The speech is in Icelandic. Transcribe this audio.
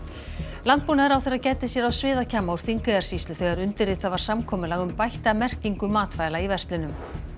landbúnaðarráðherra gæddi sér á úr Þingeyjarsýslu þegar undirritað var samkomulag um bætta merkingu matvæla í verslunum